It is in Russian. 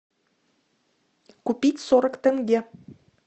купить сорок тенге